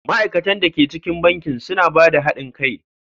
Ma'aikatan da ke cikin bankin suna ba da haɗin kai.